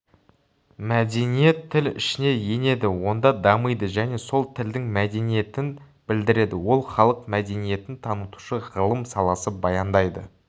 мәдениет тіл ішіне енеді онда дамиды және сол тілдің мәдениетін білдіреді ол халық мәдениетін танытушы ғылым саласы баяндайды